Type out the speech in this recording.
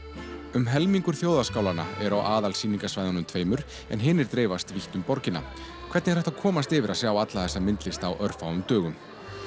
um helmingur þjóðarskálanna eru á aðalsýningarsvæðunum tveimur en hinir dreifast vítt um borgina hvernig er hægt að komast yfir að sjá alla þessa myndlist á örfáum dögum